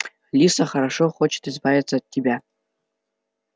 лиса хорошо хочет избавиться от тебя